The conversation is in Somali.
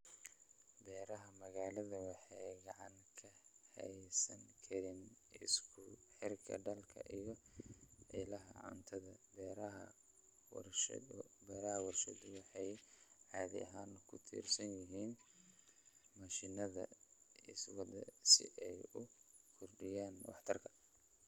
Beeraha magaalada waxay gacan ka geysan karaan isku xirka dadka iyo ilaha cuntada. Beeraha warshaduhu waxay caadi ahaan ku tiirsan yihiin mashiinada iswada si ay u kordhiyaan waxtarka.